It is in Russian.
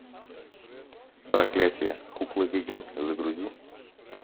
проклятие кукла ведьмы загрузи